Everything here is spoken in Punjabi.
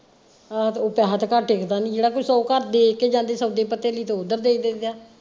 ਆਹ ਤੇ ਉਹ ਪੈਸੇ ਤੇ ਘਰ ਟਿਕਦਾ ਨਹੀਂ ਜਿਹੜਾ ਕੋਈ ਸੋ ਘਰ ਦੇ ਕੇ ਜਾਂਦੇ ਸੌਦੇ ਪੱਤੇ ਲਈ ਤੇ ਓਧਰ ਦੇ ਦਇਦਾ ਆ।